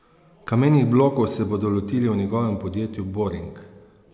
Kamenih blokov se bodo lotili v njegovem podjetju Boring.